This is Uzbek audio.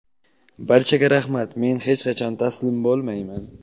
Barchaga rahmat, men hech qachon taslim bo‘lmayman.